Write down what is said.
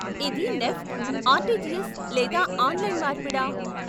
ఇది NEFT, RTGS లేదా online మార్పిడా?